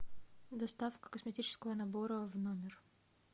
доставка косметического набора в номер